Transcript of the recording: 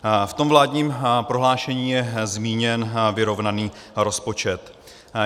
V tom vládním prohlášení je zmíněn vyrovnaný rozpočet.